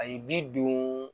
A ye bi don